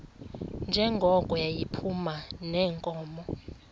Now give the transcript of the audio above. njengoko yayiphuma neenkomo